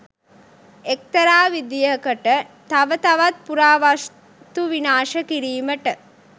එක්තරා විදිහකට තව තවත් පුරාවස්තු විනාශ කිරීමට